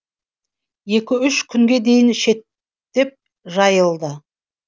екі үш күнге дейін шеттеп жайылды